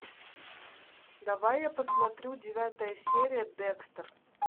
давай я посмотрю девятая серия декстер